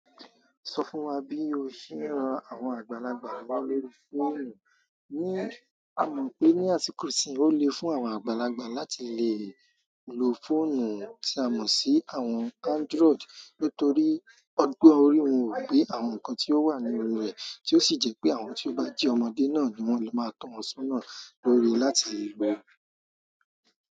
So fún wa bi o ṣe ń àwọn àgbàlagbà lọwọ lórí fóònù ní, a mọ̀ pé ní àsìkò ìsìn ó le fún àwọn àgbàlagbà láti le lo fóònù tí a mọ̀ sí àwọn Android nítorí ọgbọ́n orí wọn wò pé àwọn nǹkan tí ó wà ní orí rẹ̀, tí ó sì jẹ́ pé àwọn tí ó bá jẹ́ ọmọdé náà ni wọ́n lè máa tọ́ wọn sọ́nà lórí i láti lè lo rẹ̀.